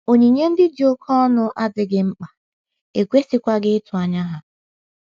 Onyinye ndị dị oké ọnụ adịghị mkpa, e kwesịghịkwa ịtụ anya ha.